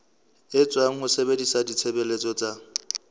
etswa ho sebedisa ditshebeletso tsa